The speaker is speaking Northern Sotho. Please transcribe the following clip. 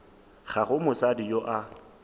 ga go mosadi yo a